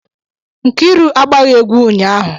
Nkiru agbaghị egwu ụnyahụ